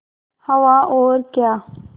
हवा और क्या